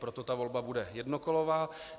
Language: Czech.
Proto ta volba bude jednokolová.